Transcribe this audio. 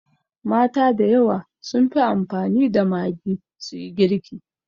Mata da yawa sun fi amfani da Maggi su yi girki.